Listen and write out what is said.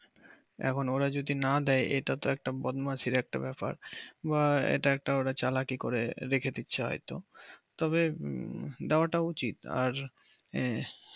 এখন ওরা যদি না দেয় এটা একটা বদমাইশি একটা ব্যাপার এটা একটা ওরা চালাকি করে রেখে দিচ্ছে হয়তো তবে পাওয়াটা উচিত আর